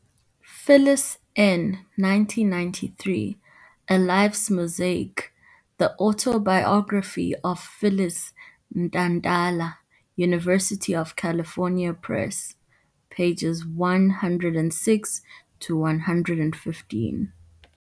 Phyllis N, 1993, A life's mosaic- the autobiography of Phyllis Ntantala, University of California Press, pages 106 to 115